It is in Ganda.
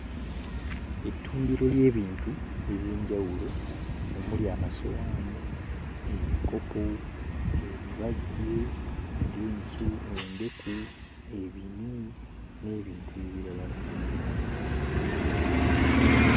Ettundiro ly'ebintu eby'enjawulo omuli amasowaani, ebikopo, ebibajje nga ensu... endeku ebinu n'ebintu ebirala bingi.